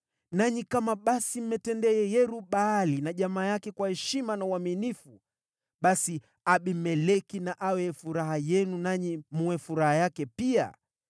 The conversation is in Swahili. nanyi kama basi mmemtendea Yerub-Baali na jamaa yake kwa heshima na uaminifu, basi Abimeleki na awe furaha yenu, nanyi mwe furaha yake pia!